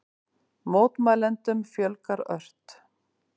Mótmælendum fjölgar ört